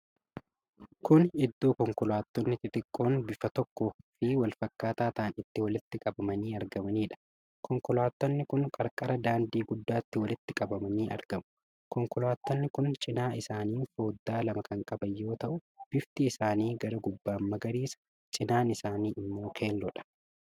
Kuni Iddoo konkolaattonni xixiqqoon bifa tokko fi walfakkaataa ta'an itti walitti qabamanii argamaniidha. Konkolaattonni kun qarqara daandii guddaatti walitti qabamanii argamu. Konkolaattonni kun cinaa isaaniin foddaa lama kan qaban yoo ta'u bifti isaanii gara gubbaan magariisa, cinaan isaanii ammoo keelloodha.